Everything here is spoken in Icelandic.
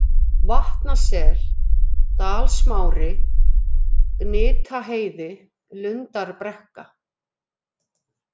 Vatnasel, Dalsmári, Gnitaheiði, Lundarbrekka